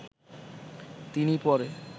তিনি পরে